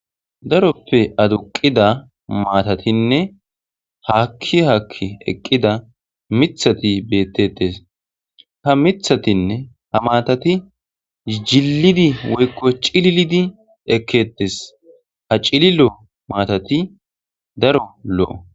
daroppe aduqida maatatinne haakki hakki eqqida mithati bettetes ha mithatinne ha maatati jillidi woykko cililidi ekketes ha cililo maatati daro lo7o